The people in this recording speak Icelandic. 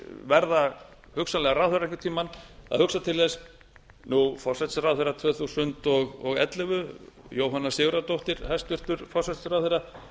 verða hugsanlega ráðherrar einhvern tíma að hugsa til þess nú forsætisráðherra tvö þúsund og ellefu jóhanna sigurðardóttir hæstvirtur forsætisráðherra